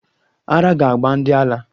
Ara ga-agba ndi ala